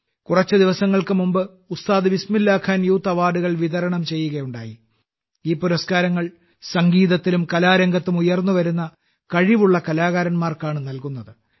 കുറച്ച് ദിവസങ്ങൾക്ക് മുമ്പ് ഉസ്താദ് ബിസ്മില്ലാ ഖാൻ യൂത്ത് അവാർഡുകൾ വിതരണം ചെയ്യുകയുണ്ടായി ഈ പുരസ്കാരങ്ങൾ സംഗീതത്തിലും കലാരംഗത്തും ഉയർന്നുവരുന്ന കഴിവുള്ള കലാകാരന്മാർക്കാണ് നൽകുന്നത്